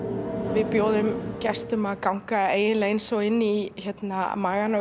við bjóðum gestum að ganga eiginlega eins og inn í magann á